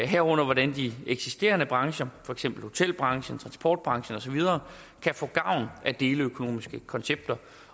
herunder hvordan de eksisterende brancher for eksempel hotelbranchen transportbranchen osv kan få gavn af deleøkonomiske koncepter